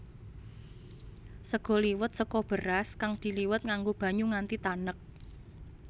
Sega liwet saka beras kang diliwet nganggo banyu nganti tanek